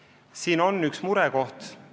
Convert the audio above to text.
Aga siin on üks murekoht.